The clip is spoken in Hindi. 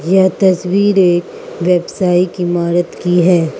यह तस्वीर एक व्यवसायिक इमारत की है।